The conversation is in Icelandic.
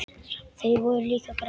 Þau voru líka græn.